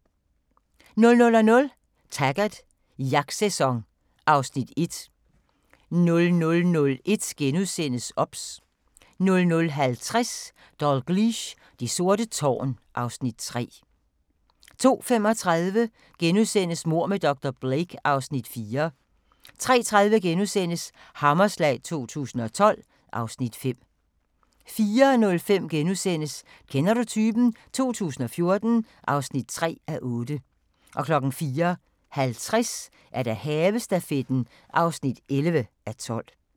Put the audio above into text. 00:00: Taggart: Jagtsæson (Afs. 1) 00:01: OBS * 00:50: Dalgliesh: Det sorte tårn (Afs. 3) 02:35: Mord med dr. Blake (Afs. 4)* 03:30: Hammerslag 2012 (Afs. 5)* 04:05: Kender du typen? 2014 (3:8)* 04:50: Havestafetten (11:12)